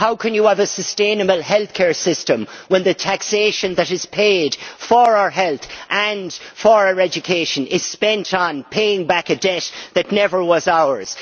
How can you have a sustainable healthcare system when the taxation that is paid for our health and for our education is spent on paying back a debt that was never ours?